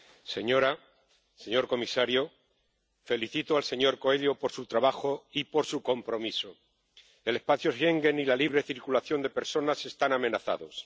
Señora presidenta, señor comisario, felicito al señor Coelho por su trabajo y por su compromiso. El espacio Schengen y la libre circulación de personas están amenazados.